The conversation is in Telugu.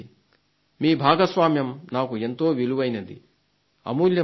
మీ భాగస్వామ్యం నాకు ఎంతో విలువైనది అమూల్యమైనది